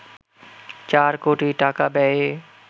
চার কোটি টাকা ব্যয়ে